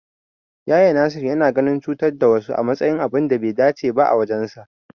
Nasir yana ganin cutar da wasu a matsayin abun da bai dace ba a wajensa.